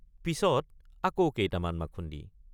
পিচত আকৌ কেইটামান মাথুন্দি।